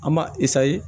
An b'a